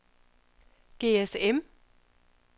GSM